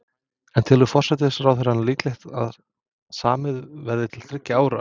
En telur forsætisráðherra líklegt að samið verði til þriggja ára?